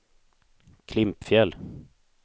Klimpfjäll